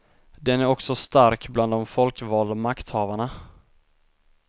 Den är också stark bland de folkvalda makthavarna.